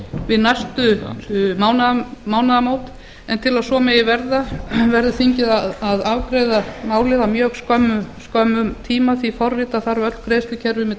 við næstu mánaðamót en til að svo megi verða verður þingið að afgreiða málið á mjög skömmum tíma því forrita þarf öll greiðslukerfi með